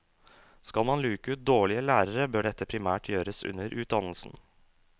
Skal man luke ut dårlige lærere bør dette primært gjøres under utdannelsen.